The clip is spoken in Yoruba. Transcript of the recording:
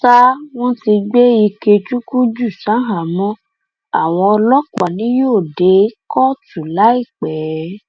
sáà wọn ti gbé ikechukwu jù ṣaháámọ àwọn ọlọpàá ni yóò dé kóòtù láìpẹ